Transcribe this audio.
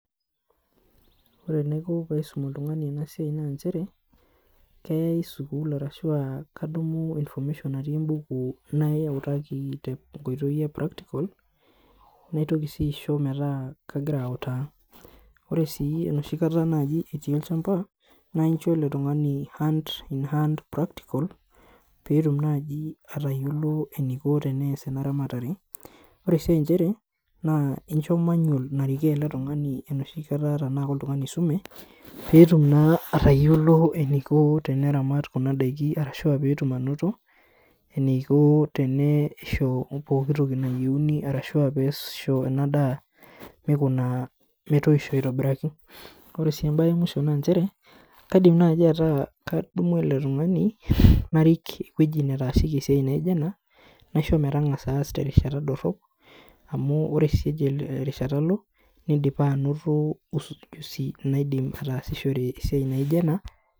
Ore eneiko paisum oltungani ena siaai naa nchere, keeyae sukuul arashu aa kadumu information natii ebuku nautaki te nkotoii e practical naitoki sii aisho metaa kagira autaa, ore sii enoshi kata etii olshamba naa incha ele tungani hand in hand practical peetum naaji atayiolo eniko pee ees ena ramatare ,ore sii inchere incho manual naarikoo ele tungani enoshi kata tenaa oltungani oisume, peetum naa atayiolo eniko teneramat kuna daiki arashu peetum anoto eniko teneisho pooki toki nayieuni arashuaa peisho ena daa meikuna metoisho aitobiraki, ore sii embae emuisho naa nchere kaidim naaji ataa kadumu ele tungani arik ewueji netaasieki esiai naijo enaa naisho metangaza aas terishata dorop amu ore sii ejo erishata alo nidipa anoto ujuzi naidim ataasishore esiaai naijo ena.